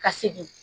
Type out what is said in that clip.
Ka segin